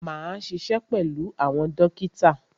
Máa ṣiṣẹ́ pẹ̀lú àwọn dókítà.